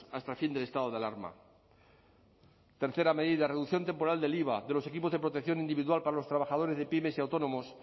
hasta fin del estado de alarma tercera medida reducción temporal del iva de los equipos de protección individual para los trabajadores de pymes y autónomos